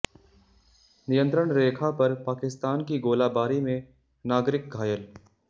नियंत्रण रेखा पर पाकिस्तान की गोलाबारी में नागरिक घायल